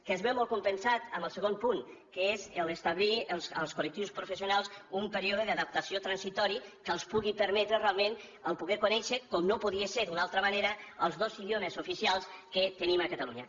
que es veu molt compensat amb el segon punt que és establir els col·lectius professionals un període d’adaptació transitori que els pugui permetre realment poder conèixer com no podia ser d’una altra manera els dos idiomes oficials que tenim a catalunya